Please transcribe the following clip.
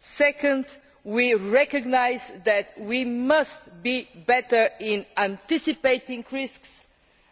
Second, we recognise that we must be better in anticipating risks